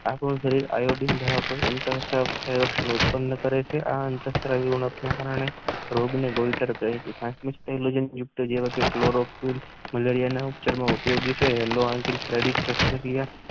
આ સંયોજનો અત્રતર ઉત્પન્ન કરેછે અને